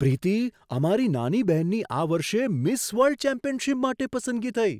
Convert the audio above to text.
પ્રીતી! અમારી નાની બહેનની આ વર્ષે મિસ વર્લ્ડ ચેમ્પિયનશિપ માટે પસંદગી થઈ!